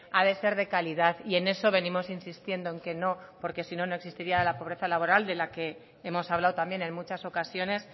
ha de ser de calidad y en eso venimos insistiendo en que no porque si no no existiría la pobreza laboral de la que hemos hablado también en muchas ocasiones